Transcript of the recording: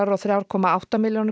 og þrjú komma átta milljónir